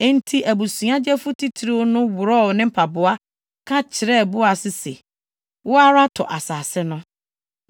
Enti abusua gyefo titiriw no worɔw ne mpaboa ka kyerɛɛ Boas se, “Wo ara tɔ asase no.”